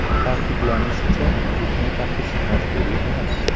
Ta’kidlanishicha, uzukni taqish majburiy emas.